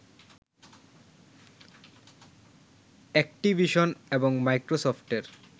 Activision এবং মাইক্রোসফটের